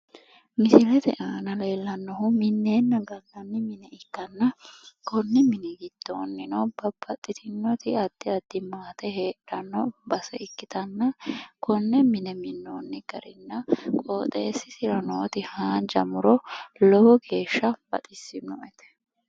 Misilete aana leellannohu minneenna gallanni mine ikkanna konni mini giddoonnino babbaxxitinnoti addi addi maate heedhanno base ikkitanna konne mine minnoonni garinna qoxeessisira nooti haanja muro lowo geeshsha baxissinoe.